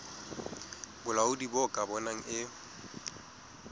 bolaodi bo ka bonang e